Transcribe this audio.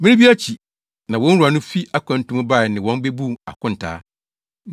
“Mmere bi akyi na wɔn wura no fi akwantu mu bae ne wɔn bebuu akontaa.